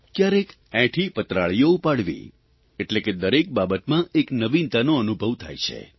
કયારેક એંઠી પતરાળીઓ ઉપાડવી એટલે કે દરેક બાબતમાં એક નવીનતાનો અનુભવ થાય છે